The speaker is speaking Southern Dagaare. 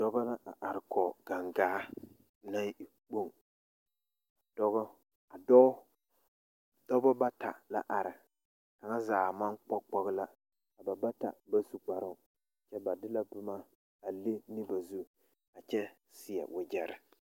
Noba la a arekɔɡe ɡaŋɡaa naŋ e kpoŋ dɔbɔ bata la are kaŋa zaa maŋ kpɔɡekpɔɡe la a ba kaŋa zaa ba su kparoo kyɛ ba de la boma a leŋ a ba zu a kyɛ seɛ waɡyɛre.